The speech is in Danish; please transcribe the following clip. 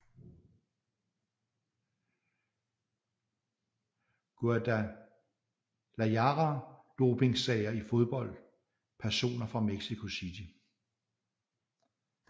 Guadalajara Dopingsager i fodbold Personer fra Mexico City